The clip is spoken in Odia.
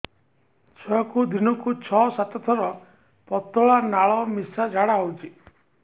ଛୁଆକୁ ଦିନକୁ ଛଅ ସାତ ଥର ପତଳା ନାଳ ମିଶା ଝାଡ଼ା ହଉଚି